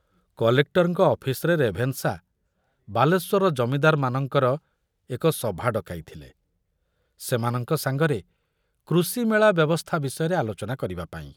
କଲେକ୍ଟରଙ୍କ ଅଫିସରେ ରେଭେନଶା ବାଲେଶ୍ବରର ଜମିଦାରମାନଙ୍କର ଏକ ସଭା ଡକାଇଥିଲେ ସେମାନଙ୍କ ସାଙ୍ଗରେ କୃଷି ମେଳା ବ୍ୟବସ୍ଥା ବିଷୟରେ ଆଲୋଚନା କରିବା ପାଇଁ।